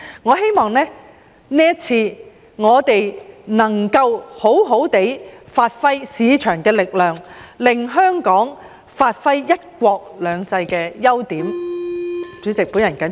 我希望我們這次能夠好好發揮市場的力量，令香港發揮"一國兩制"的優點。